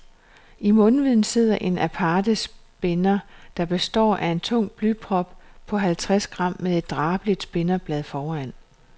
I mundvigen sidder en aparte spinder, der består af en tung blyprop på halvtreds gram med et drabeligt spinderblad foran.